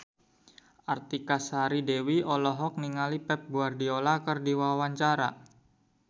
Artika Sari Devi olohok ningali Pep Guardiola keur diwawancara